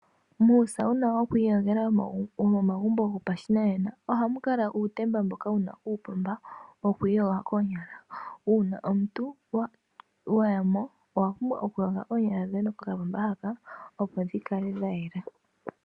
Muusauna woku iyogela womo magumbo gopashinanena ohamu kala uutemba mboka wuna uupomba woku iyoga koonyala. Uuna omuntu wayamo owa pumbwa oku yoga oonyala dhoye kokapomba haka opo dhikale dha yela.